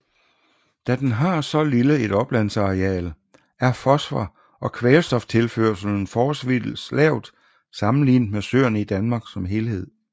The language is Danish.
Da den har så lille et oplandsareal er fosfor og kvælstoftilførslen forholdsvist lavt sammenlignet med søerne i Danmark som helhed